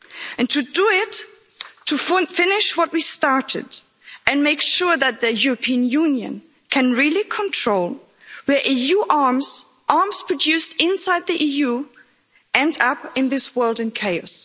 And to do it, to finish what we started, and make sure that the European Union can really control where EU arms, arms produced inside the EU, end up in this world in chaos.